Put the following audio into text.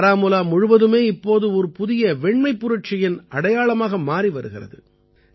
பாராமூலா முழுவதுமே இப்போது ஒரு புதிய வெண்மைப் புரட்சியின் அடையாளமாக மாறி வருகிறது